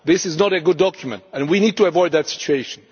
This is not a good document', and we need to avoid that situation.